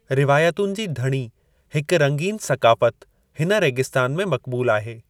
रिवायतुनि जी धणी हिकु रंगीनु सक़ाफ़त हिन रेगिस्तान में मक़्बूल आहे।